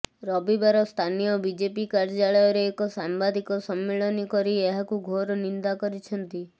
ରବିବାର ସ୍ଥାନୀୟ ବିଜେପି କାର୍ଯ୍ୟାଳୟରେ ଏକ ସାମ୍ବାଦିକ ସମ୍ମିଳନୀ କରି ଏହାକୁ ଘୋର ନିନ୍ଦା କରିଛନ୍ତି